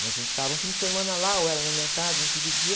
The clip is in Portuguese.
E a gente ficava um fim de semana lá, ou ela na minha casa, a gente dividia.